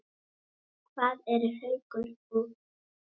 Hvað eru Haukur og